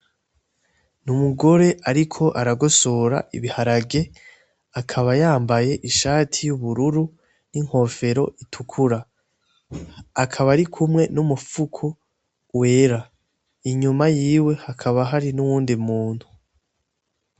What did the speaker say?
N'umugore ariko aragosora ibiharage, akaba yambaye ishati y'ubururu, n'inkofero itukura. akaba arikumwe n'umufuko wera; inyuma yiwe hakaba hari nuyundi muntu.